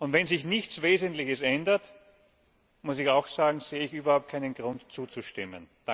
Wenn sich nichts Wesentliches ändert das muss ich auch sagen sehe ich überhaupt keinen Grund, zuzustimmen.